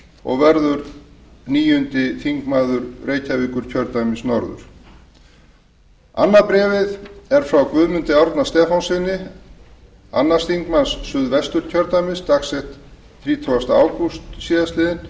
og verður níundi þingmaður reykjavíkurkjördæmis norður annað bréfið er frá guðmundi árna stefánssyni annar þingmaður suðvesturkjördæmis dagsett þrítugasta ágúst síðastliðinn